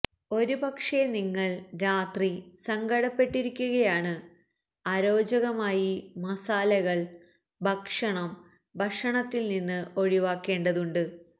ഒരുപക്ഷേ നിങ്ങൾ രാത്രി സങ്കടപ്പെട്ടിരിക്കുകയാണ് അരോചകമായി മസാലകൾ ഭക്ഷണം ഭക്ഷണത്തിൽ നിന്ന് ഒഴിവാക്കേണ്ടതുണ്ട്